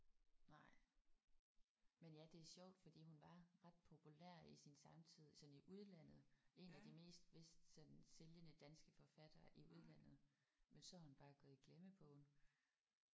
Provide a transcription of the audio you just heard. Nej. Men ja det er sjovt for hun var ret populær i sin samtid sådan i udlandet. En af de mest vist sådan sælgende danske forfattere i udlandet men så er hun bare gået i glemmebogen